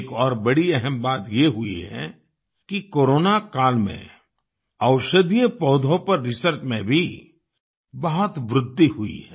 एक और बड़ी अहम बात ये हुई है कि कोरोना काल में औषधीय पौधों पर रिसर्च में भी बहुत वृद्धि हुई है